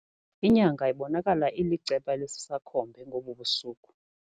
Inyanga ibonakala iliceba elisisakhombe ngobu busuku.